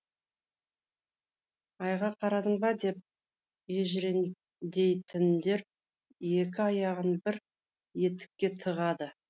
айға қарадың ба деп ежіреңдейтіндер екі аяғын бір етікке тығады